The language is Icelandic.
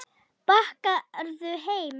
Bakarðu heima?